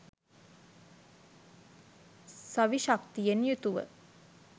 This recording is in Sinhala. සවි ශක්තියෙන් යුතුව